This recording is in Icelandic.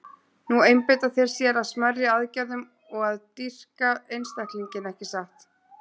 Nú einbeita þeir sér að smærri aðgerðum og að dýrka einstaklinginn, ekki satt?